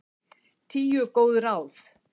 Tíu góð ráð